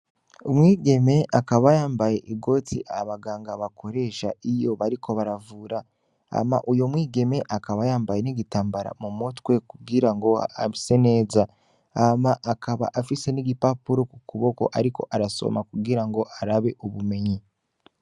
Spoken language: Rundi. Umwigeme akaba yambaye igoti abaganga bakoresha iyo bariko baravura hama uwo mwigeme akaba yambaye n'igitambara mumutwe kugirango bise neza hama akaba afise n'igipapuro kukuboko ariko arasoma kugira ngo arabe ubumenyi.